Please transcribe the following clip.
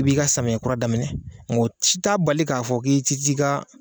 I b'i ka samiya kura daminɛ nga o ci ta bali k'a fɔ k'i ci t'i ka